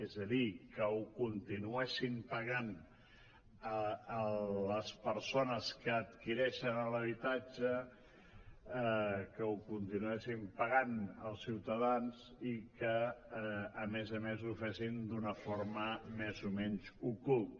és a dir que ho continuessin pagant les persones que adquireixen l’habitatge que ho continuessin pagant els ciutadans i que a més a més ho fessin d’una forma més o menys ocul·ta